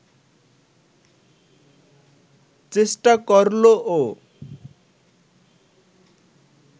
চেষ্টা করল ও